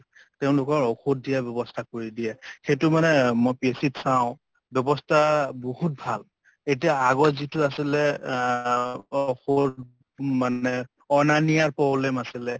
তেঁওলোকৰ ঔষধ দিয়া ব্যবস্থা কৰি দিয়ে । সেইটো মানে মই PHC ত চাওঁ ব্যবস্থা বহুত ভাল । এতিয়া আগত যিটো আছিলে অ cough ৰ মানে অনা নিয়াৰ problem আছিলে।